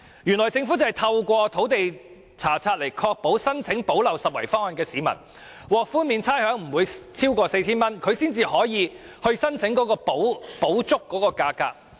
原來政府可透過土地查冊來確保提出申請的市民，不會獲差餉寬免超過 4,000 元，這樣他們才合資格申請補足差額。